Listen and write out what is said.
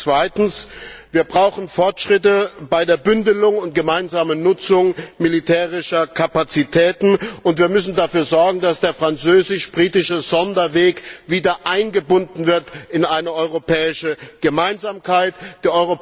Zweitens Wir brauchen Fortschritte bei der Bündelung und gemeinsamen Nutzung militärischer Kapazitäten und wir müssen dafür sorgen, dass der französisch britische Sonderweg wieder in eine europäische Gemeinsamkeit eingebunden wird.